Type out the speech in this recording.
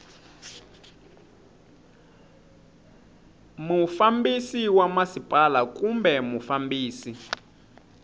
mufambisi wa masipala kumbe mufambisi